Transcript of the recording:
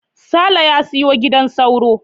Saleh ya siyo gidan sauro.